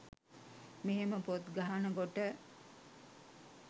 මෙහෙම පොත් ගහන කොට